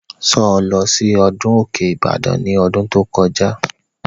Sọ lọ sí ọdún Òkè Ìbàdàn ní ọdún tó kọjá?